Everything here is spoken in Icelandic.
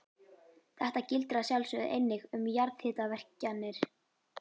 Þetta gildir að sjálfsögðu einnig um jarðhitavirkjanir.